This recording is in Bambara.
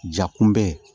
Ja kunbɛ